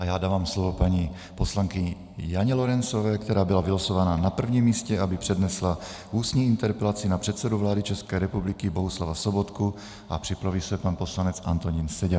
A já dávám slovo paní poslankyni Janě Lorencové, která byla vylosována na první místě, aby přednesla ústní interpelaci na předsedu vlády České republiky Bohuslava Sobotku, a připraví se pan poslanec Antonín Seďa.